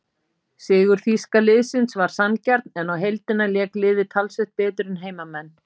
Sigur þýska liðsins var sanngjarn en á heildina lék liðið talsvert betur en heimamenn.